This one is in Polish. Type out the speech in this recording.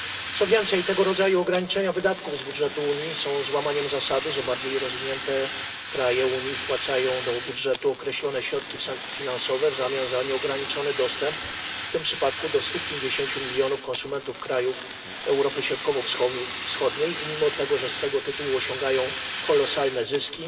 Co więcej, tego rodzaju ograniczenia wydatków z budżetu Unii są złamaniem zasady, że bardziej rozwinięte kraje Unii wpłacają do budżetu określone środki finansowe w zamian za nieograniczony dostęp w tym przypadku do 150 milionów konsumentów krajów Europy Środkowo Wschodniej i mimo tego, że z tego tytułu osiągają kolosalne zyski,